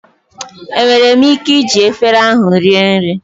Enwere m ike iji efere ahụ rie nri?